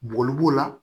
Bogo b'o la